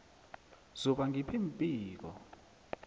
zuba ngiph iimpiko